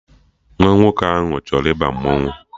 Nwa nwoke ahụ achọrọ ịba mmanwụ